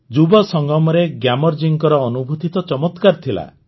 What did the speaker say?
ଯୁବସଙ୍ଗମରେ ଗ୍ୟାମର ଜୀଙ୍କ ଅନୁଭୂତି ତ ଚମତ୍କାର ଥିଲା